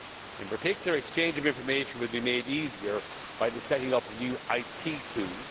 In particular, exchange of information will be made easier by the setting up of new IT tools.